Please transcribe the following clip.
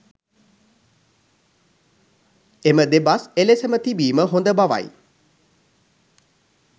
එම දෙබස් එලෙසම තිබීම හොඳ බවයි.